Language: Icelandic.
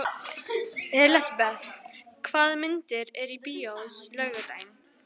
Elisabeth, hvaða myndir eru í bíó á laugardaginn?